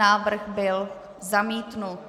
Návrh byl zamítnut.